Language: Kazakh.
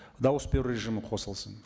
дауыс беру режимі қосылсын